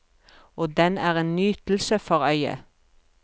Og den er en nytelse for øyet.